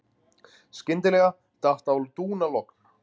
Skyndilega datt á dúnalogn.